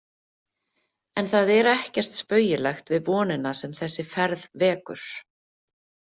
En það er ekkert spaugilegt við vonina sem þessi ferð vekur.